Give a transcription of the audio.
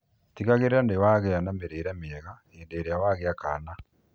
Tigagĩrĩra nĩũragĩa na mĩrĩre mĩega hĩndĩ ĩrĩa wagĩa kana